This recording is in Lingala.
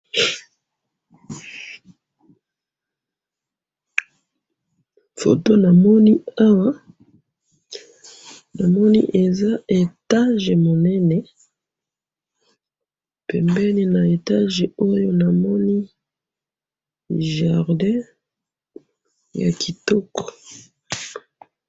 Foto namoni awa, namoni eza etage monene, pembeni na etage oyo namoni jardin yakitoko.